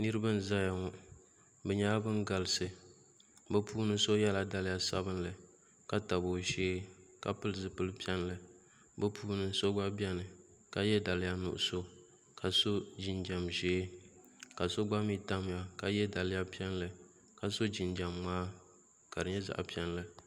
Niraba n ʒɛya ŋo bi nyɛla bin galisi bi puuni so yɛla daliya sabinli ka tabi o shee ka pili zipili piɛlli bi puuni so gba biɛni ka yɛ daliya nuɣso ka so jinjɛm ʒiɛ ka so gba mii tamya ka yɛ daliya piɛlli ka so jinjɛm ŋmaa ka di nyɛ zaɣ piɛlli